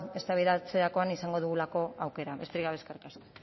eztabaidatzerakoan izango dugulako aukera besterik gabe eskerrik asko